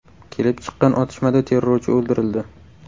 Kelib chiqqan otishmada terrorchi o‘ldirildi.